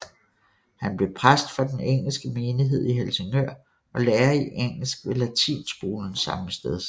Han blev præst for den engelske menighed i Helsingør og lærer i engelsk ved latinskolen sammesteds